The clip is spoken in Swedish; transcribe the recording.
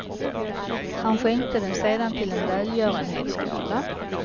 Han skänkte den sedan till en välgörenhetsgala.